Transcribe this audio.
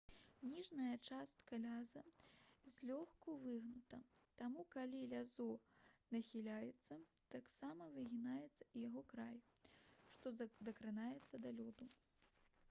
ніжняя частка ляза злёгку выгнута таму калі лязо нахіляецца таксама выгінаецца і яго край што дакранаецца да лёду